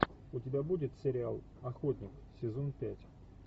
у тебя будет сериал охотник сезон пять